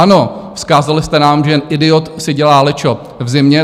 Ano, vzkázali jste nám, že jen idiot si dělá lečo v zimě.